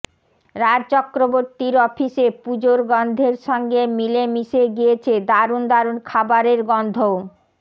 রাজ চক্রবর্তীর অফিসে পুজোর গন্ধের সঙ্গে মিলে মিশে গিয়েছে দারুণ দারুণ খাবারের গন্ধও